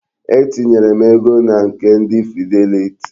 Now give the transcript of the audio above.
Etinyere m ego na nke ndi Fidelity.